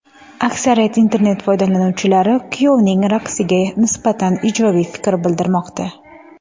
Aksariyat internet foydalanuvchilari kuyovning raqsiga nisbatan ijobiy fikr bildirmoqda.